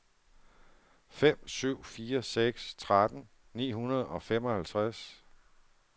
fem syv fire seks tretten ni hundrede og femoghalvtreds